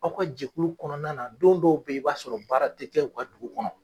Aw ka jɛkulu kɔnɔna na don dɔw bɛ yen i b'a sɔrɔ baara tigɛ ka dugu kɔnɔ.